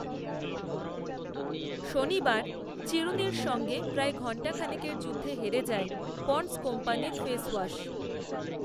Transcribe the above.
শনিবার চিরুনির সঙ্গে প্রায় ঘন্টা খানেকের যুদ্ধে হেরে যায় পণ্ডস কোম্পানীর ফেস ওয়া‍‍শ